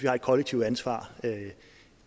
har et kollektivt ansvar